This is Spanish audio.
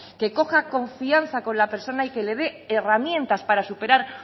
que coja confianza con la persona y que le dé herramientas para superar